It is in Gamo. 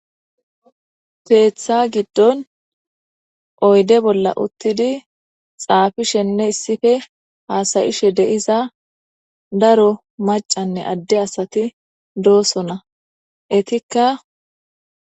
Peeththa giddon oyde bolla uttidi xaafishenne issife haasayishe deiza daro macanne adde asati doosona etikka.